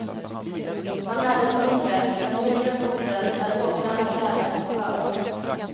Han är den undre, den nedre bonden där åkrarna klädas till skörd.